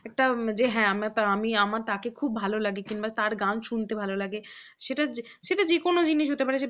একটা যে হ্যাঁ আমি তাকে খুব ভালো লাগে কিংবা তার গান শুনতে ভালো লাগে সেটা সেটা যে কোন জিনিস হতে পারে